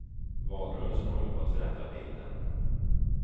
Valrörelsen håller på att förändra bilden.